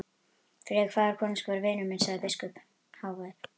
Friðrik faðir konungs var vinur minn, sagði biskup hávær.